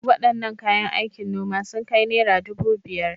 Wadannan kayan aikin noma sun kai naira dubu biyar.